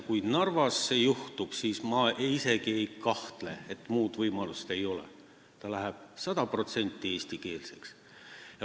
Kui Narvas see juhtub, siis ma isegi ei kahtle, et muud võimalust ei ole, see läheb sada protsenti eestikeelseks.